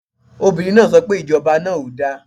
Obìnrin náà so pe Ìjọba náà ò da